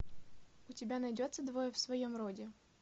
у тебя найдется двое в своем роде